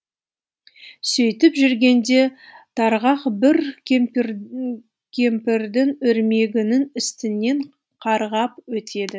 сөйтіп жүргенде тарғақ бір кемпірдің өрмегінің үстінен қарғап өтеді